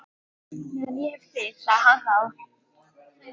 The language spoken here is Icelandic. Meðan ég hef þig sagði hann þá.